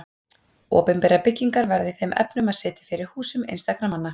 Opinberar byggingar verða í þeim efnum að sitja fyrir húsum einstakra manna.